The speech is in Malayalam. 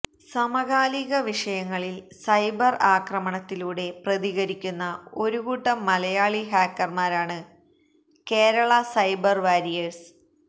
സമകാലിക വിഷയങ്ങളിൽ സൈബർ ആക്രമണത്തിലൂടെ പ്രതികരിക്കുന്ന ഒരുകൂട്ടം മലയാളി ഹാക്കർമാരാണ് കേരള സൈബർ വാരിയേഴ്സ്